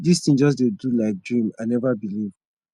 this thing just dey do like dream i never believe